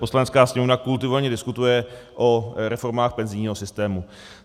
Poslanecká sněmovna kultivovaně diskutuje o reformách penzijního systému.